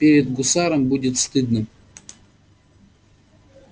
перед гусаром будет стыдно